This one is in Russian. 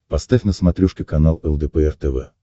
поставь на смотрешке канал лдпр тв